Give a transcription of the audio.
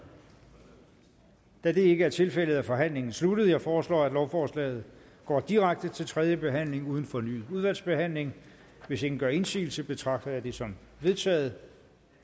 da det ikke er tilfældet er forhandlingen sluttet jeg foreslår at lovforslaget går direkte til tredje behandling uden fornyet udvalgsbehandling hvis ingen gør indsigelse betragter jeg det som vedtaget